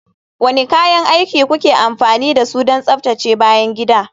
Wane kayan aiki kuke amfani da su don tsaftace bayan gida?